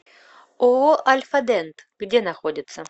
ооо альфа дент где находится